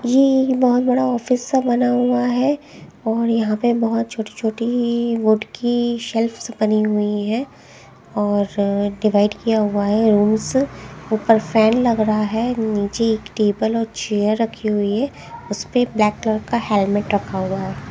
ये बहुत बड़ा ऑफिस सा बना हुआ है और यहां पे बहुत छोटी छोटी वुड की शेल्फस बनी हुई हैं और डिवाइड किया हुआ है रूम्स ऊपर फैन लग रहा है नीचे एक टेबल और चेयर रखी हुई है उसपे ब्लैक कलर का हेलमेट रखा हुआ है।